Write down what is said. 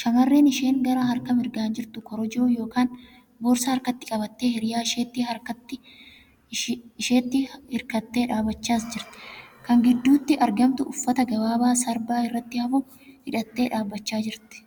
Shamarreen isheen garaa harka mirgaan jirtu korojoo yookan boorsaa harkatti qabattee hiriyaa isheetti hirkattii dhaabbachas jirti. Kan gidduutti argamtu uffata gabaabaa sarbaa irratti hafu hidhattee dhasbachaa jirti.